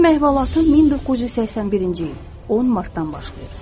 Mənim əhvalatım 1981-ci il 10 martdan başlayır.